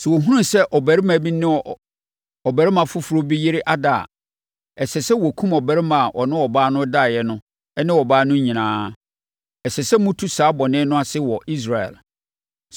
Sɛ wɔhunu sɛ ɔbarima bi ne ɔbarima foforɔ bi yere da a, ɛsɛ sɛ wɔkum ɔbarima a ɔne ɔbaa no daeɛ no ne ɔbaa no nyinaa. Ɛsɛ sɛ motu saa bɔne no ase wɔ Israel.